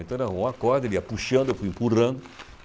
Então ele arrumou uma corda, ele ia puxando, eu fui empurrando.